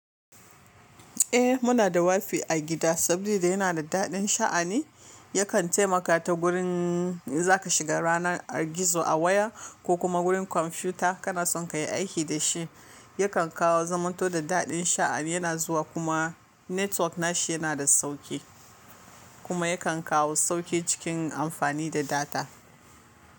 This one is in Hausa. Eh muna da wifi a gida saboda yana da daɗin sha'ani yakan taimaka ta gurin zaka shiga ranar gizo a waya ko kuma gurin kwamfuta kana son ka yi aiki da shi, yakan kawo zamanto da daɗin sha'ani yana zuwa kuma network nashi yana da sauki kuma yakan kawo sauki cikin amfani da data.